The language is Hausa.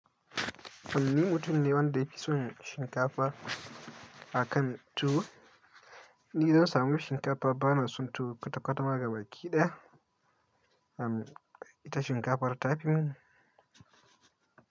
Amma ni mutum ne wanda yafi son shinkafa akan tuwo. Ni zan samu shinkafa bana son tuwo, kata-kata ma gaba kiɗa, am, ita shinkafar ta fi mun.